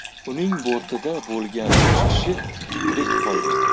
Uning bortida bo‘lgan uch kishi tirik qolgan.